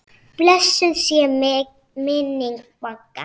Blessuð sé minning Magga.